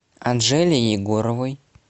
анжеле егоровой